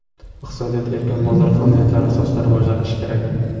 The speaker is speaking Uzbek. Iqtisodiyot erkin bozor qonuniyatlari asosida rivojlanishi kerak.